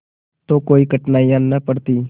तो कोई कठिनाई न पड़ती